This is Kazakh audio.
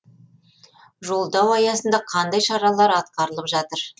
жолдау аясында қандай шаралар атқарылып жатыр